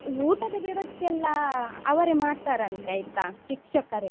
ಊಟದ ವ್ಯವಸ್ಥೆ ಎಲ್ಲ ಅವ್ರೆ ಮಾಡ್ತಾರಂತೆ ಆಯ್ತಾ ಶಿಕ್ಷಕರೆ.